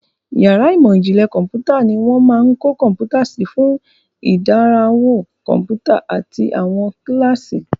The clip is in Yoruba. Yàrá ìmọ̀ ìjìnlẹ̀ kọ̀ḿpútà ni wọ́n máa ń kó kọ̀ḿpútà sí fún ìdánrawò kọ̀ḿpútà àti àwọn kíláàsì.